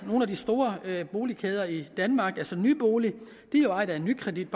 nogle af de store boligkæder i danmark altså nybolig er ejet af nykredit